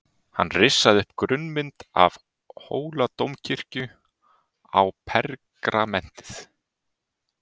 Hann rissaði upp grunnmynd af Hóladómkirkju á pergamentið.